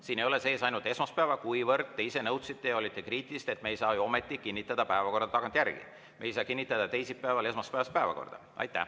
Siin ei ole sees ainult esmaspäev, kuivõrd te ise nõudsite ja olite kriitilised, et me ei saa ju ometi kinnitada päevakorda tagantjärele, me ei saa kinnitada teisipäeval esmaspäevast päevakorda.